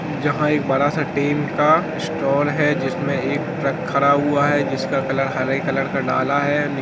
जहां एक बड़ा सा टीम का स्टोर है जिसमें एक ट्रक खड़ा हुआ है जिसका कलर हरे कलर का डाला है।